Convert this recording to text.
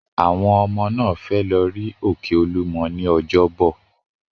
Àwọn ọmọ náà fẹ́ lọ rí òkè Olúmọ ní ọjọ́bọ̀.